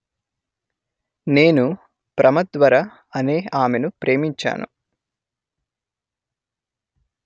నేను ప్రమద్వర అనే ఆమెను ప్రేమించాను